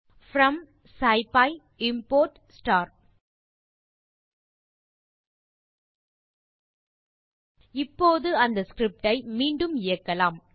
from scipy import star இப்போது அந்த script ஐ மீண்டும் இயக்கலாம்